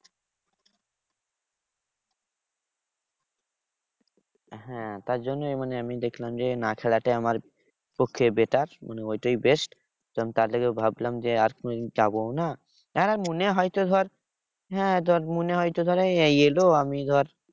হ্যাঁ তার জন্যই মানে আমি দেখলাম যে, না খেলাটাই আমার পক্ষে better মানে ওইটাই best. তার থেকে ভাবলাম যে আর কোনো দিন যাবোও না হ্যাঁ মনে হয়তো ধর হ্যাঁ ধর মনে হয় তো ধর এই এলো আমি ধর